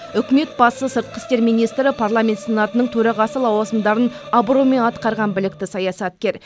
үкімет басы сыртқы істер министрі парламент сенатының төрағасы лауазымдарын абыроймен атқарған білікті саясаткер